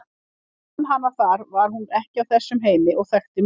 Þegar ég fann hana þar var hún ekki af þessum heimi og þekkti mig ekki.